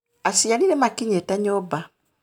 Aciari nĩmakinyĩte nyũmba